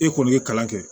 E kɔni ye kalan kɛ